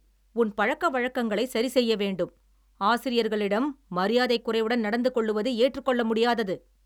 உன் பழக்கவழக்கங்களைச் சரிசெய்ய வேண்டும், ஆசிரியர்களிடம் மரியாதைக்குறைவுடன் நடந்து கொள்ளுவது ஏற்றுக்கொள்ள முடியாதது